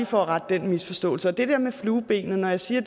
for at rette den misforståelse det der med fluebenet siger